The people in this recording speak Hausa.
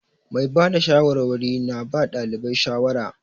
Mai ba da shawarwari na ba ɗalibai shawara.